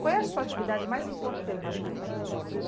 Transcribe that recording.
Qual é a sua atividade mais importante hoje na sua vida?